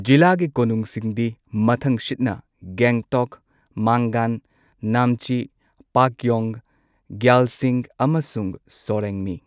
ꯖꯤꯂꯥꯒꯤ ꯀꯣꯅꯨꯡꯁꯤꯡꯗꯤ ꯃꯊꯪꯁꯤꯠꯅ ꯒꯦꯡꯇꯣꯛ, ꯃꯥꯡꯒꯟ, ꯅꯥꯝꯆꯤ, ꯄꯥꯛꯌꯣꯡ, ꯒ꯭ꯌꯥꯜꯁꯤꯡ, ꯑꯃꯁꯨꯡ ꯁꯣꯔꯦꯡꯅꯤ꯫